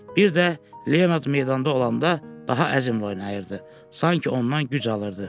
Bir də Leonard meydanda olanda daha əzmli oynayırdı, sanki ondan güc alırdı.